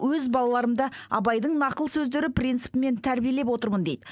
өз балаларымды абайдың нақыл сөздері принципімен тәрбиелеп отырмын дейді